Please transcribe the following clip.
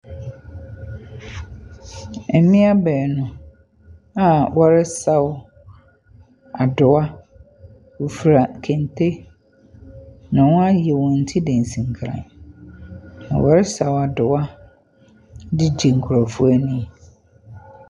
Mmea baanu a wɔresaw adowa, wɔfura kente, na wɔn ayɛ wɔn ti dansinkran, na wɔresaw adowa de gye nkurɔfo ani.